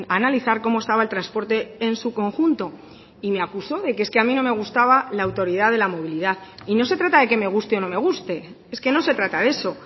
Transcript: analizar cómo estaba el transporte en su conjunto y me acusó de que es que a mí no me gustaba la autoridad de la movilidad y no se trata de que me guste o no me guste es que no se trata de eso